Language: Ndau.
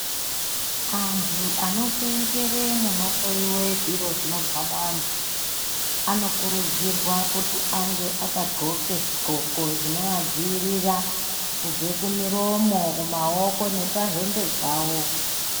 Antu ano senzere muno hloyiwe zviro zvinobva mu vantu ano kurudzirwa kuti ange aka ndxoke zvi ndxoko zvino adziiirira kubve ku miromo ku maoko nepa hembe dzawo.